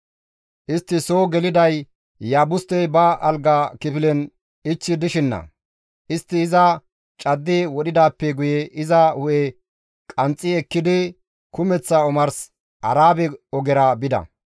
Istti soo geliday Iyaabustey ba alga kifilen ichchi dishina; istti iza caddi wodhidaappe guye iza hu7e qanxxi ekkidi kumeththa omars Arabe ogera bida.